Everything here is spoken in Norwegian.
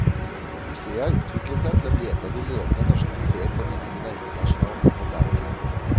Museet har utviklet seg til å bli et av de ledende norske museer for visning av internasjonal moderne kunst.